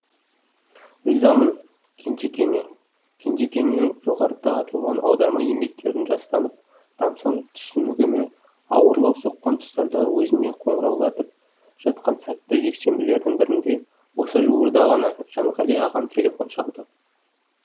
ризамын кенжекеңе кенжекеңнің жоғарыда аталған аударма еңбектерін жастанып тамсанып түсінігіме ауырлау соққан тұстарда өзіне қоңыраулатып жатқан сәтті жексенбілердің бірінде осы жуырда ғана жанғали ағам телефон шалды